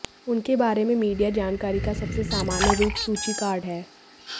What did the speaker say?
उनके बारे में मीडिया जानकारी का सबसे सामान्य रूप सूची कार्ड हैं